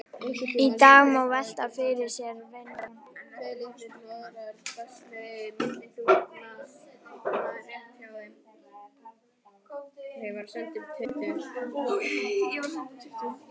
Í dag má velta fyrir sér vendipunktinum.